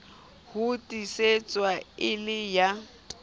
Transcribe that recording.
ho tiisetswa e le ya